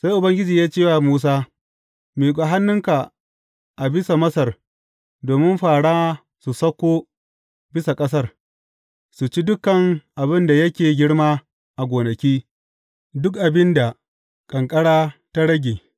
Sai Ubangiji ya ce wa Musa, Miƙa hannunka a bisa Masar domin fāra su sauko bisa ƙasar, su ci duk abin da yake girma a gonaki, duk abin da ƙanƙara ta rage.